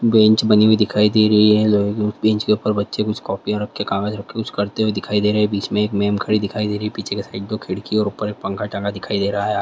Bench बनी हुई दिखाई दे रही है बेंच के ऊपर बच्चे कुछ कॉपिया रख के कागज रख के यूज करते दिखाई दे रहे है। बीच मे एक मेम खड़ी दिखाई दे रही है पीछे की साइड दो खिड़की और एक पंखा टंगा दिखाई दे रहा है।